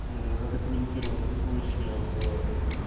задокументированных случаев